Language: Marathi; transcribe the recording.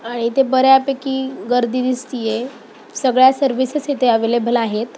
आ इथे बर्‍यापैकी गर्दी दिसती आहे. सगळ्या सर्विसेस इथे अवेलेबल आहेत.